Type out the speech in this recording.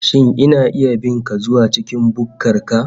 Shin ina iya bin ka zuwa cikin bukkar ka